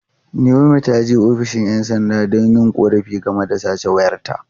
Naomi ta je ofishin ’yan sanda don yin korafi game da sace wayarta.